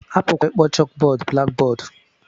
A pụkwara ịkpọ chókbọọdụ